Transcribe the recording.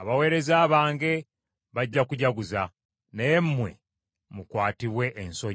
abaweereza bange bajja kujaguza, naye mmwe mukwatibwe ensonyi.